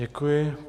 Děkuji.